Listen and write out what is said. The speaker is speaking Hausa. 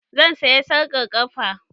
Zan saya sarƙar ƙafa